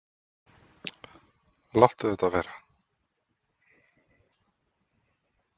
Láttu þetta vera!